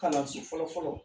Kalanso fɔlɔfɔlɔ